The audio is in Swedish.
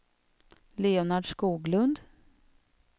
Leonard Skoglund